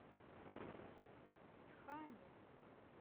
тхане